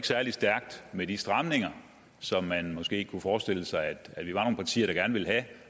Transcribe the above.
særlig stærkt med de stramninger som man måske kunne forestille sig